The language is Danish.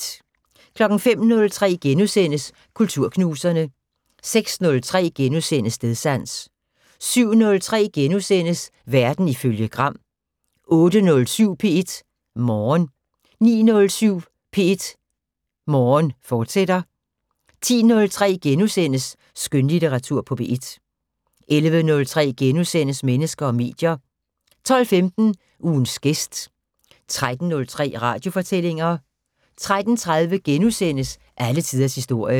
05:03: Kulturknuserne * 06:03: Stedsans * 07:03: Verden ifølge Gram * 08:07: P1 Morgen 09:07: P1 Morgen, fortsat 10:03: Skønlitteratur på P1 * 11:03: Mennesker og medier * 12:15: Ugens gæst 13:03: Radiofortællinger 13:30: Alle tiders historie *